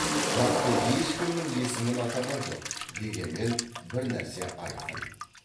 нақты ешкімнің есімін атаған жоқ дегенмен бір нәрсе айқын